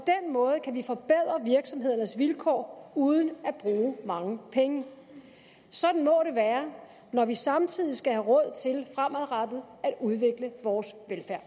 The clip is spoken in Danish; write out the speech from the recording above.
måde kan vi forbedre virksomhedernes vilkår uden at bruge mange penge sådan må det være når vi samtidig skal have råd til fremadrettet at udvikle vores